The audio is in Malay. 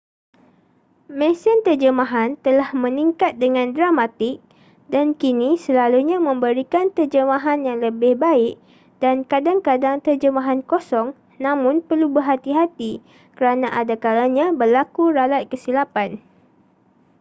mesin terjemahan telah meningkat dengan dramatik dan kini selalunya memberikan terjemahan yang lebih baik dan kadang-kadang terjemahan kosong namun perlu berhati-hati kerana adakalanya berlaku ralat kesilapan